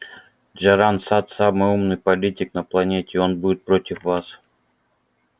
джоран сатт самый умный политик на планете и он будет против вас